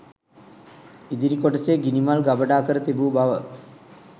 ඉදිරි කොටසේ ගිනිමල් ගබඩා කර තිබූ බව